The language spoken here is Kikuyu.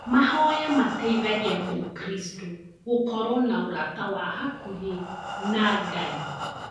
Mahoya mateithagia mũkristo gũkorwo na ũrata wa hakuhĩ na ngai